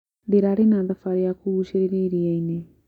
Ndĩrarĩ na thabarĩ ya kũgucĩrĩria iria-inĩ.